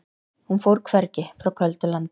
Hún fór hvergi, frá köldu landi.